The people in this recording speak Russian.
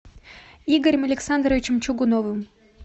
игорем александровичем чугуновым